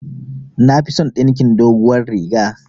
Nafison dinkin doguwar riga